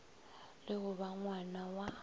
le go ba ngwna wa